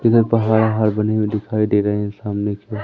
इधर पहाड़ हड़बड़ी में दिखाई दे रही हैं सामने की ओ--